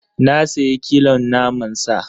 Na sayi kilon naman sa.